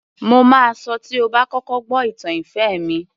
Mo máa sọ tí ó bá kọ́kọ́ gbó ìtàn ìfẹ́ mi